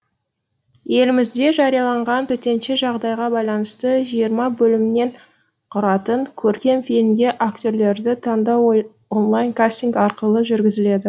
елімізде жарияланған төтенше жағдайға байланысты жиырма бөлімнен құратын көркем фильмге актерлерді таңдау онлайн кастинг арқылы жүргізіледі